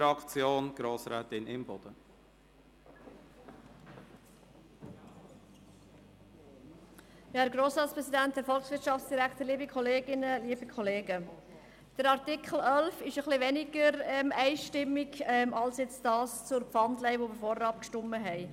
Die Beurteilung des Artikels 11 ist etwas weniger einheitlich ausgefallen als in Bezug auf die Pfandleihe, über die wir vorhin abgestimmt haben.